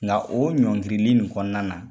Nga o ɲɔngirili nin kɔnɔna na